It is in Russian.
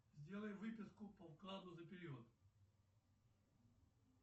сделай выписку по вкладу за период